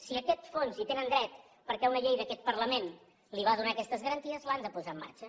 si a aquest fons hi tenen dret perquè una llei d’aquest parlament li va donar aquestes garanties l’han de posar en marxa